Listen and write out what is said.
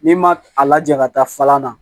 N'i ma a laja ka taa falan na